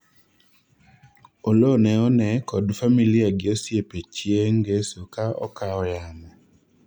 Oloo ne one kod familia gi osiepe chieng' ngeso ka okao yamo